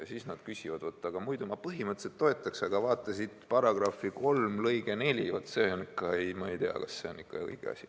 Ja siis nad ütlevad, et muidu ma põhimõtteliselt toetaks, aga vaata siin § 3 lõige 4, ma ei tea, kas see on ikka õige asi.